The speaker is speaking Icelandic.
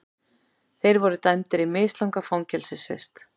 Þeir voru dæmdir í mislanga fangelsisvist